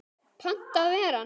Panta að vera hann.